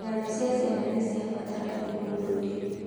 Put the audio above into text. Ng'ano cia ciana nĩ cia bata harĩ ũndũire.